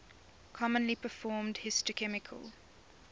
commonly performed histochemical